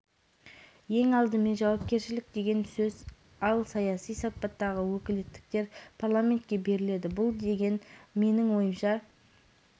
сипатта олар үкіметке биліктің жергілікті атқару органдарына беріледі бұл өкілеттіктер тек қолға билік ұстату емес